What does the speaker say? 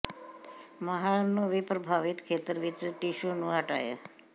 ਮਾਹਰ ਨੂੰ ਵੀ ਪ੍ਰਭਾਵਿਤ ਖੇਤਰ ਵਿਚ ਟਿਸ਼ੂ ਨੂੰ ਹਟਾਏ